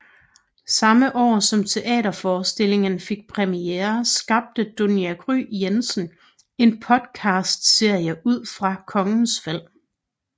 Samme år som teaterforstillingen fik premiere skabte Dunja Gry Jensen en podcastserie ud fra Kongens Fald